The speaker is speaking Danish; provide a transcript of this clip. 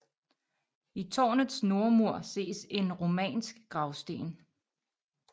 I tårnets nordmur ses en romansk gravsten